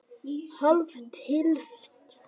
Hálf tylft?